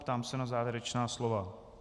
Ptám se na závěrečná slova.